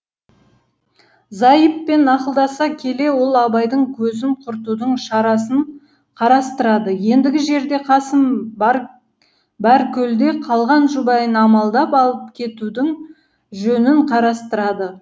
зайыппен ақылдаса келе ол абайдың көзін құртудың шарасын қарастырады ендігі жерде қасым баркөлде қалған жұбайын амалдап алып кетудің жөнін қарастырады